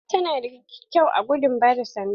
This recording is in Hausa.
Ta na da kyau a gudun ba da sanda.